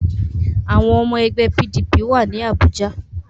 Àwọn ọmọ ẹgbẹ́ PDP wà ní Àbújá